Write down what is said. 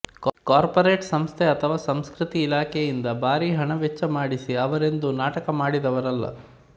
corporate ಸಂಸ್ಥೆ ಅಥವಾ ಸಂಸ್ಕೃತಿ ಇಲಾಖೆಯಿಂದ ಭಾರಿ ಹಣ ವೆಚ್ಚ ಮಾಡಿಸಿ ಅವರೆಂದೂ ನಾಟಕ ಮಾಡಿದವರಲ್ಲ